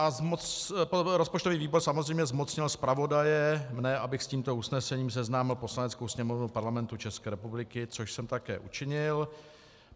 A rozpočtový výbor samozřejmě zmocnil zpravodaje, mne, abych s tímto usnesením seznámil Poslaneckou sněmovnu Parlamentu České republiky, což jsem také učinil.